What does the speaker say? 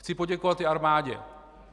Chci poděkovat i armádě.